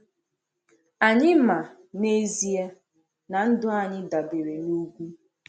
Anyị ma, n’ezie, na ndụ anyị dabere n’ugwu.